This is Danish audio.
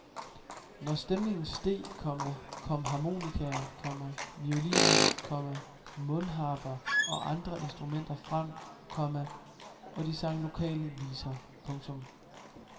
Når stemningen steg, komma kom harmonikaer, komma violiner, komma mundharper og andre instrumenter frem, komma og de sang lokale viser. punktum